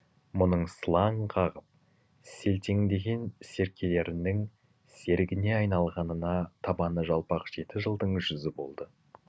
мұның сылаң қағып селтеңдеген серкелерінің серігіне айналғанына табаны жалпақ жеті жылдың жүзі болды